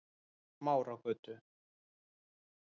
Smáragötu